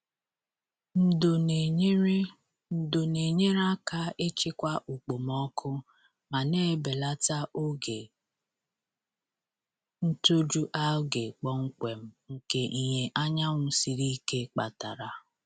Ndo na-enyere Ndo na-enyere aka ịchịkwa okpomọkụ ma na-ebelata oge ntoju algae kpọmkwem nke ìhè anyanwụ siri ike kpatara.